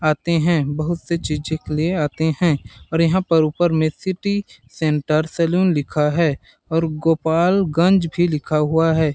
आते हैं बहुत सी चीजें के लिए आते हैं और यहां पर ऊपर में सिटी सेंटर सलून लिखा है और गोपालगंज भी लिखा हुआ है।